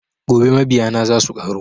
Gobe mabiya na za suƙaru